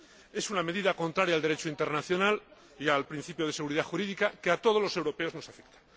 Es una medida contraria al Derecho internacional y al principio de seguridad jurídica que a todos los europeos nos afecta.